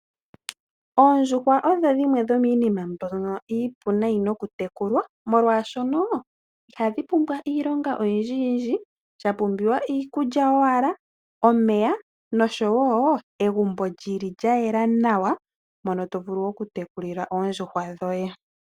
Oondjuhwa odho dhimwe dhomiinima mbyono iipu nayi nokutekulwa Molwaashoka ihadhi pumbwa iilonga oyindji, Shapumbiwa iikulya owala, omeya noshowo egumbo lyayela nawa mono tovulu oku tekulila oondjuhwa dhoye